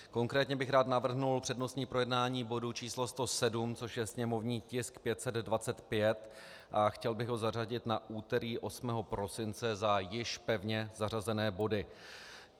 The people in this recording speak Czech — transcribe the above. Konkrétně bych rád navrhl přednostní projednání bodu č. 107, což je sněmovní tisk 525, a chtěl bych ho zařadit na úterý 8. prosince za již pevně zařazené body.